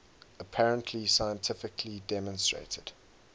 apparently scientifically demonstrated